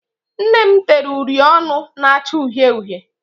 Nne m tere uri ọnụ na-acha uhie uhie.